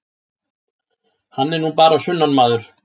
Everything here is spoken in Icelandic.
Hann er nú bara sunnanmaður.